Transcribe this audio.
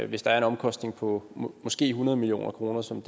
hvis der er en omkostning på måske hundrede million kr som